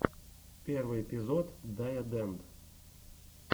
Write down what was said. первый эпизод дайодэнд